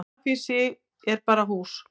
grafhýsi er bara hús